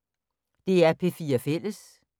DR P4 Fælles